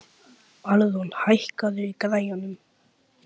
Alrún, hækkaðu í græjunum.